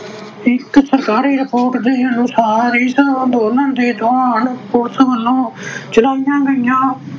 ਇਕ ਸਰਕਾਰੀ report ਦੇ ਅਨੁਸਾਰ ਇਸ ਅੰਦੋਲਨ ਦੇ ਜਵਾਨ police ਵੱਲੋਂ ਚਲਾਈਆਂ ਗਈਆਂ